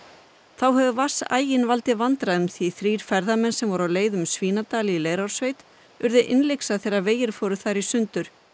þá hefur vatnsaginn valdið vandræðum því þrír ferðamenn sem voru á leið um Svínadal í Leirársveit urðu innlyksa þegar vegir fóru þar í sundur